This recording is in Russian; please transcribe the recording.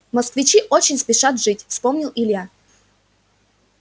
москвичи очень спешат жить вспомнил илья